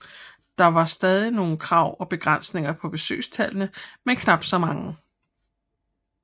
Der var stadig nogle krav og begrænsninger på besøgstallene men knap så mange